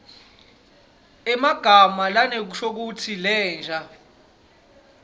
emagama lanenshokutsi lensha